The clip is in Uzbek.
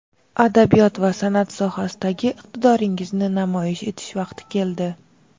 adabiyot va sanʼat sohasidagi iqtidoringizni namoyish etish vaqti keldi.